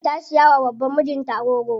Maryam ta siya wa baban mijin ta agogo.